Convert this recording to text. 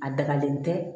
A dagalen tɛ